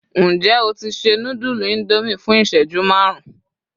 njé o ti se nudulu Indomie fún iṣẹju marun